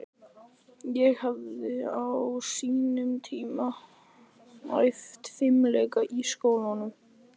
Ég hafði á sínum tíma æft fimleika í skólanum í